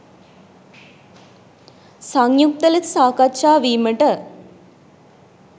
සංයුක්ත ලෙස සාකච්ඡා වීමට